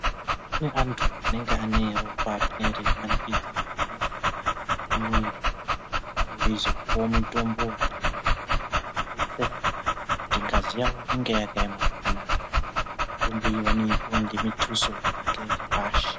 Kune antu anenge ane ropa rine reimanikidza kuhamba mumwiri, vanenge veizopuwawo mitombo iriyo mazuva anaya inodetsera kuti ngazi yawo inge yakaema zvakanaka. Mitombo iyi vanoipuwa ngemituso iri ngechepashi.